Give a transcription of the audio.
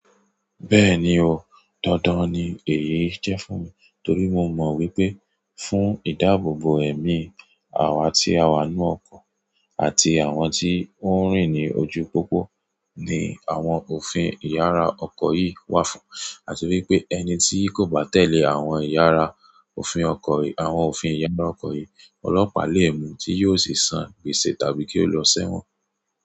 Bẹ́ẹ̀ni o, dandan ni èyí jẹ́ fún mi torí mo mọ̀ wípé fún ìdáàbòbò ẹ̀mí àwọn tí a wà nínú ọkọ̀ àti àwọn tí ó ń rìn ní ojú pópó ni àwọn òfin ìyára ọkọ̀ yìí wà fún. Àti wípé ẹni tí kò bá tẹ̀lé àwọn ìyára òfin ọkọ̀ yìí, ọlọ́pàá lè mú tí yóò sì san gbèsè tàbí kí ó lọ sẹ́wọ̀n.